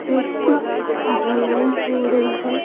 छत धुलाई हो रही है।